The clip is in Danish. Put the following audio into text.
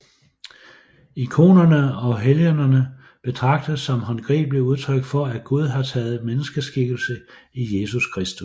Ikonerne og helgenerne betragtes som håndgribelige udtryk for at Gud har taget menneskeskikkelse i Jesus Kristus